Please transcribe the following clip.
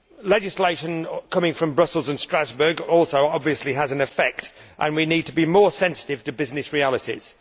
Legislation coming from Brussels and Strasbourg also has an effect, and we need to be more sensitive to business realities.